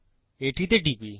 এটিতে টিপি